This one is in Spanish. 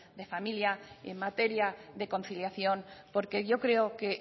de familia y en materia de conciliación porque yo creo que